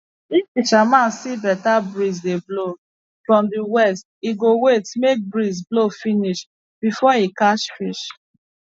if fishermen see better breeze dey blow from the west e go wait make breeze blow finish before e catch fish